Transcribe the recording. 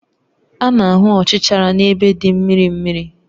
A na-ahụ ọchịchara n'ebe dị mmiri mmiri.